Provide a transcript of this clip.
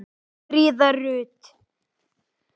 Fríða Rut.